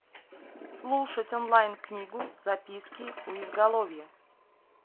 слушать онлайн книгу записки у изголовья